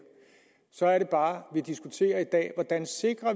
så er det bare at vi diskuterer i dag hvordan